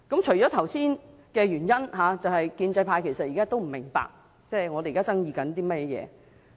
除了剛才的原因外，建制派仍然不明白我們在爭議些甚麼。